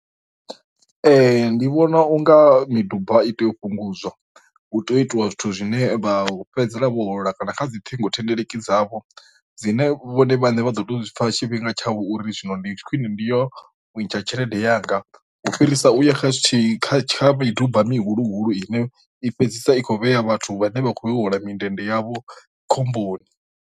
Ee ndi vhona unga miduba i tea u fhungudza u tea u itiwa zwithu zwine vha fhedzisela vho bola kana kha dzi ṱhingo thendeleki dzavho dzine vhone vhane vha ḓo to zwipfa tshifhinga tsha uri zwino ndi khwine ndi yo ntsha tshelede yanga, u fhirisa u ya kha zwithihi kha tsha miduba mihulu ine i fhedzisa i kho vhea vhathu vhane vha khou ya u hola mindende yavho khomboni.